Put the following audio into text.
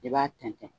I b'a tɛntɛn